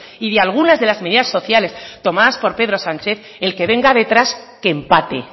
y de algunas de las medidas sociales tomadas por pedro sánchez el que venga detrás que empate